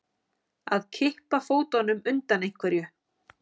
Að kippa fótunum undan einhverju